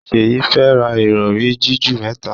Seyi fè rá Ìrọ̀rí jiju mẹta.